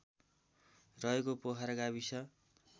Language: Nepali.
रहेको पोखरा गाविस